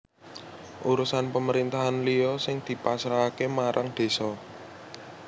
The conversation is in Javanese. Urusan pemerintahan liya sing dpasrahaké marang désa